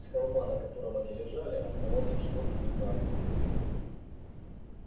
с холма на котором они лежали открывался широкий вид на округу